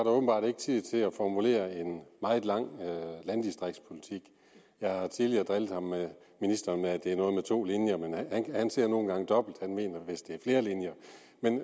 åbenbart ikke tid til at formulere en meget lang landdistriktspolitik jeg har tidligere drillet ministeren med at det er noget med to linjer men han ser nu engang dobbelt han mener vist at det er flere linjer